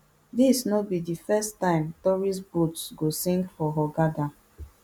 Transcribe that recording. dis no be di firsttime tourist boats go sink for hurghada